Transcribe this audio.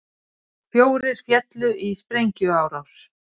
Fjórir féllu í sprengjuárás